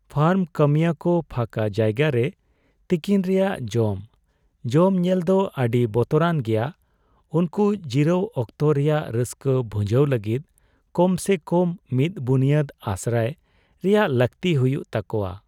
Farm ᱠᱟᱹᱢᱤᱭᱟᱹ ᱠᱚ ᱯᱷᱟᱠᱟ ᱡᱟᱭᱜᱟᱨᱮ ᱛᱤᱠᱤᱱ ᱨᱮᱭᱟᱜ ᱡᱚᱢ ᱡᱚᱢ ᱧᱮᱞᱫᱚ ᱟᱹᱰᱤ ᱵᱚᱛᱚᱨᱟᱱ ᱜᱮᱭᱟ ᱾ ᱩᱱᱠᱚ ᱡᱤᱨᱟᱹᱣ ᱚᱠᱛᱚ ᱨᱮᱭᱟᱜ ᱨᱟᱹᱥᱠᱟᱹ ᱵᱷᱩᱸᱟᱹᱣ ᱞᱟᱹᱜᱤᱫ ᱠᱚᱢ ᱥᱮ ᱠᱚᱢ ᱢᱤᱫ ᱵᱩᱱᱤᱭᱟᱹᱫ ᱟᱥᱨᱟᱭ ᱨᱮᱭᱟᱜ ᱞᱟᱹᱠᱛᱤ ᱦᱩᱭᱩᱜ ᱛᱟᱠᱚᱣᱟ ᱾